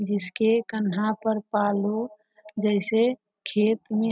जिसके कन्धा पर पालो जैसे खेत में --